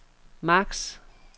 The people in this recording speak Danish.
max